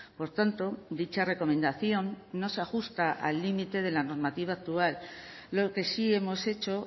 por tanto dicha recomendación no se ajusta al límite de la normativa actual lo que sí hemos hecho